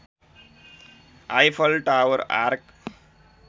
Eiffel tower arc